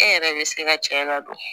E yɛrɛ bɛ se ka cɛ ladon